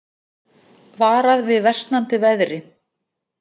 Varað við versnandi veðri